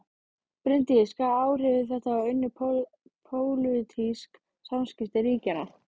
Bryndís: Hvaða áhrif hefur þetta á önnur pólitísk samskipti ríkjanna?